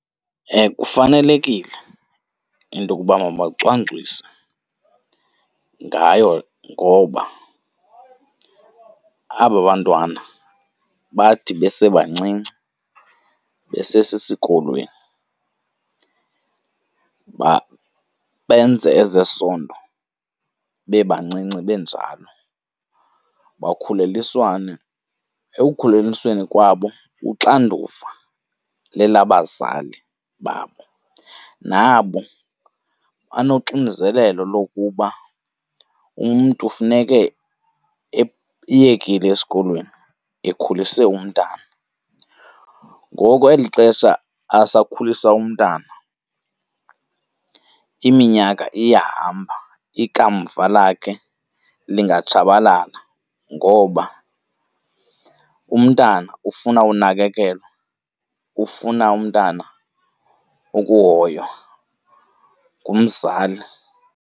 Kufanelekile into yokuba mabacwangcise ngayo ngoba abo bantwana bathi besebancinci besesesikolweni benze ezesondo bebancinci benjalo, bakhulelwiswane. Ekukhulelisweni kwabo uxanduva lelabazali babo, nabo banoxinzelelo lokuba umntu funeke eyekile esikolweni, ekhulise umntana. Ngoko eli xesha asakhulisa umntana iminyaka iyahamba, ikamva lakhe lingatshabalala ngoba umntana ufuna unakekelwa, ufuna umntana ukuhoywa ngumzali.